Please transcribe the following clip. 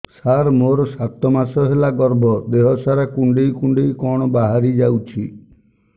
ସାର ମୋର ସାତ ମାସ ହେଲା ଗର୍ଭ ଦେହ ସାରା କୁଂଡେଇ କୁଂଡେଇ କଣ ବାହାରି ଯାଉଛି